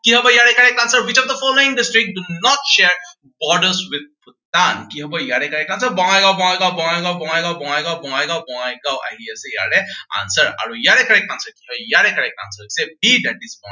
কি হব ইয়াৰে correct answer, which of the following district do not share borders with Bhutan কি হব ইয়াৰে correct answer বঙাইগাওঁ, বঙাইগাওঁ, বঙাইগাওঁ, বঙাইগাওঁ, বঙাইগাওঁ, বঙাইগাওঁ, বঙাইগাওঁ আহি আছে ইয়াৰে answer আৰু ইয়াৰে correct answer কি হয়, আৰু ইয়াৰে correct answer হৈছে b, that is